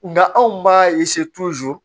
Nka anw b'a